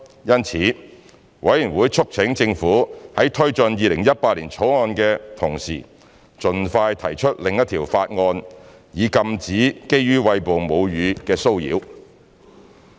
因此，法案委員會促請政府在推進《2018年條例草案》的同時盡快提出另一項法案，以禁止基於餵哺母乳的騷擾。